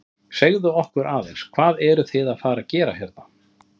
Segðu okkur aðeins, hvað eruð þið að fara að gera hérna?